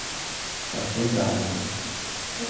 Eu acho que é a idade, né?